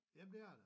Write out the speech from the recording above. Jamen det er det